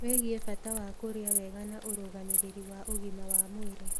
wĩgie bata wa kũrĩa wega na ũrũgamĩrĩri wa ũgima wa mwĩrĩ.